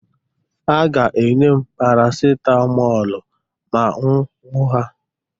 Ha ga-enye m parasitamọl ma m hụ ha.